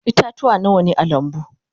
Ita-tuwa Nawa ne a lambu?